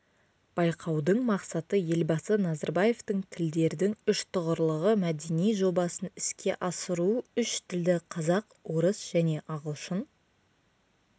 байқаудың мақсаты елбасы назарбаевтың тілдердің үштұғырлығы мәдени жобасын іске асыру үш тілді қазақ орыс және ағылшын